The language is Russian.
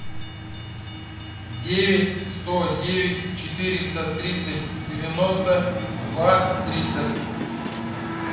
девять сто девять четыреста тридцать девяносто два тридцать